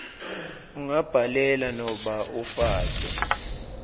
ungabhalela nobe ufake